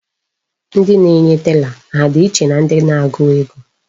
Ndị na-enye tela ha dị iche na ndị na-agụ ego?